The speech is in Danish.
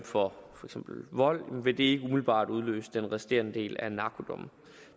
for eksempel vold vil det ikke umiddelbart udløse den resterende del af narkodommen